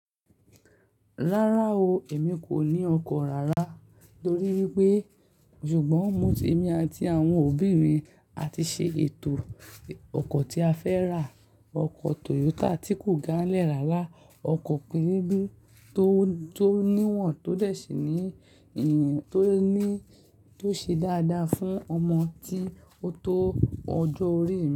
Rárá o, èmi kò ní ọkọ̀ rárá torí wípé ṣùgbọ́n mo, èmi àti àwọn òbí mi àti ṣe ètò ọkọ̀ tí a fẹ́ rà, ọkọ̀ Toyota tí kò gán-lẹ̀ rárá, ọkọ̀ pin pin tó níwọ̀n tó dẹ̀ sí ní, tó ṣe dáadáa fún ọmọ tí ó tó ọjọ́ orí.